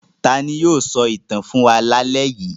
Ta ni yóò sọ ìtàn fún wa lálẹ́ yìí?